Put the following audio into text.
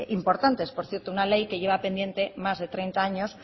importantes por cierto una ley que lleva pendiente más de treinta años